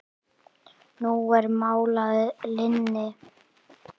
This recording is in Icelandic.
Nú er mál að linni.